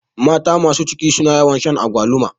Mata masu ciki suna yawan shan agwaluma